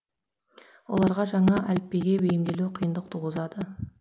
оларға жаңа әліпбиге бейімделу қиындық туғызады